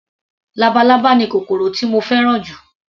Labalábá ni kòkòrò tí mo fẹ́ràn jù